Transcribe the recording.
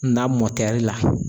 Na la.